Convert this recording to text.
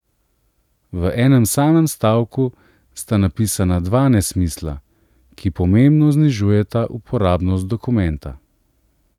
V enem samem stavku sta napisana dva nesmisla, ki pomembno znižujeta uporabnost dokumenta.